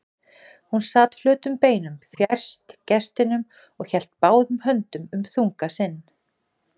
Hún sat flötum beinum fjærst gestinum og hélt báðum höndum um þunga sinn.